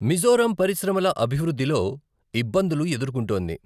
మిజోరం పరిశ్రమల అభివృద్ధిలో ఇబ్బందులు ఎదుర్కొంటోంది.